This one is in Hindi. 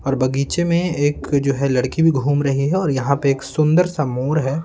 और बगीचे में एक जो है लड़की भी घूम रही है और यहाँ पे एक सुंदर सा मोर है।